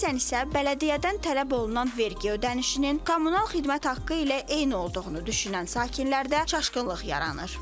Bəzən isə bələdiyyədən tələb olunan vergi ödənişinin kommunal xidmət haqqı ilə eyni olduğunu düşünən sakindən çaşqınlıq yaranır.